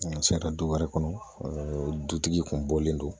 N sera du wɛrɛ kɔnɔ dutigi kun bɔlen don